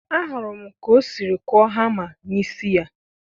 ahụrụ m ka o siri kụọ hamma n'isi ya.